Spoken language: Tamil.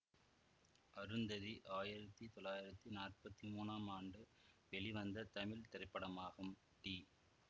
அருந்ததி ஆயிரத்தி தொள்ளாயிரத்தி நாற்பத்தி மூனாம் ஆண்டு வெளிவந்த தமிழ் திரைப்படமாகும் டி